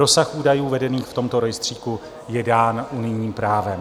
Rozsah údajů vedených v tomto rejstříku je dán unijním právem.